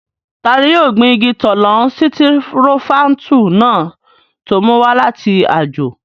Tani yóò gbin igi tọ́lọ́n sitirofáńtù náà tó mú wá láti àjò?